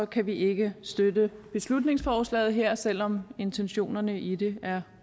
kan vi ikke støtte beslutningsforslaget her selv om intentionerne i det er